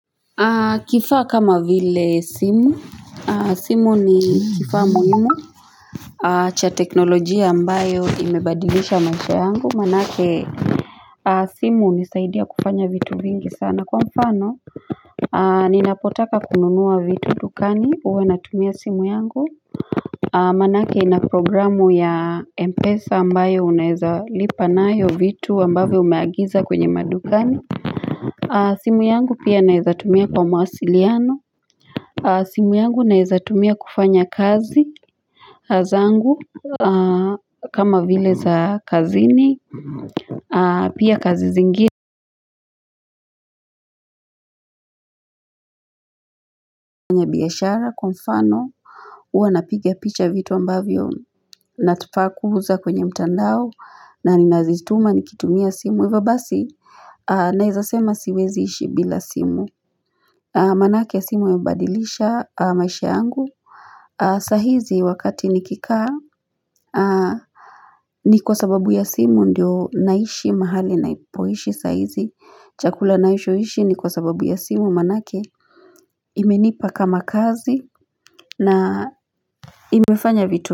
Kifaa kama vile simu, simu ni kifaa muhimu cha teknolojia ambayo imebadilisha maisha yangu manake simu hunisaidia kufanya vitu vingi sana kwa mfano Ninapotaka kununua vitu dukani huwe natumia simu yangu Manake ina programu ya Mpesa ambayo uneza lipanayo vitu ambavo umeagiza kwenye madukani simu yangu pia naezatumia kwa mawasiliano simu yangu naiezatumia kufanya kazi zangu kama vile za kazini Pia kazi zingi biashara kwa mfano huwa napigia picha vitu ambavyo nafaa kuuuza kwenye mtandao na ninazituma nikitumia simu Hivobasi naezasema siwezi ishi bila simu Manake simu imebadilisha maisha yangu sahizi wakati nikikaa ni kwa sababu ya simu ndio naishi mahali napoishi sahizi, chakula naishoishi ni kwa sababu ya simu manake imenipa kama kazi na imefanya vitu.